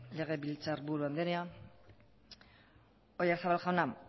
legebiltzarburu andrea oyarzabal jauna